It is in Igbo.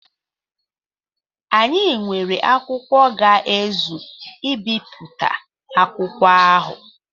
Anyị nwere akwụkwọ ga-ezu ibipụta akwụkwọ ahụ.